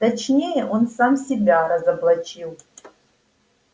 точнее он сам себя разоблачил